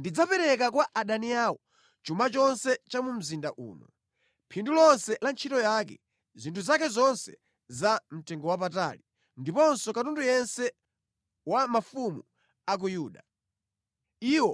Ndidzapereka kwa adani awo chuma chonse cha mu mzinda uno, phindu lonse la ntchito yake, zinthu zake zonse za mtengowapatali ndiponso katundu yense wa mafumu a ku Yuda. Iwo